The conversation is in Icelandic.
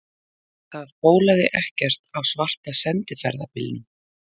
Það bólaði ekkert á svarta sendiferðabílnum.